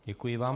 Děkuji vám.